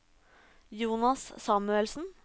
Jonas Samuelsen